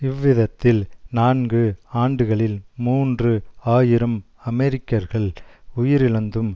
இவ்விதத்தில் நான்கு ஆண்டுகளில் மூன்று ஆயிரம் அமெரிக்கர்கள் உயிரிழந்தும்